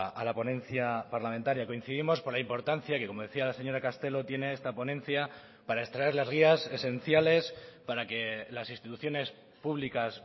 a la ponencia parlamentaria coincidimos por la importancia que como decía la señora castelo tiene esta ponencia para extraer las guías esenciales para que las instituciones públicas